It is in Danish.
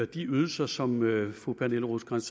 de ydelser som fru pernille rosenkrantz